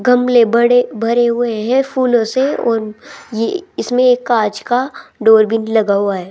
गमले बड़े भरे हुए है फूलों से और ये इसमें एक कांच का डोर भी लगा हुआ है।